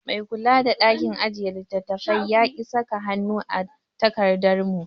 Mai kula da ɗakin ajiye littattafai yaki saka hannu a takardar mu